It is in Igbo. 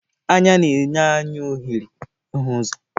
Anya na-enye anyị ohere ịhụ ụzọ.